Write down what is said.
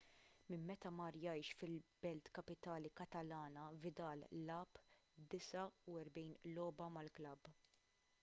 minn meta mar jgħix fil-belt kapitali katalana vidal lagħab 49 logħba mal-klabb